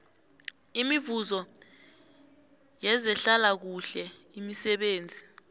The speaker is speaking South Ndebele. imivuzo yezehlalakuhle imisebenzi